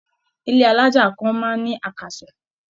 Ilé alájà kan máa ń ní àkàsọ̀.